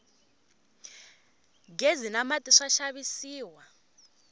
ghezi na mati swa xavisiwa